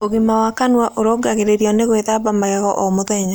Ũgima wa kanũa ũrũngagĩririo nĩ gwĩthamba magego oh mũthenya